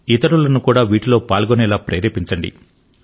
ఇతరులను కూడా వీటిలో పాల్గొనేలా ప్రేరేపించండి